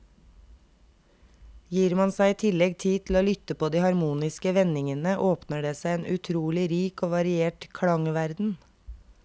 Gir man seg i tillegg tid til å lytte på de harmoniske vendingene, åpner det seg en utrolig rik og variert klangverden.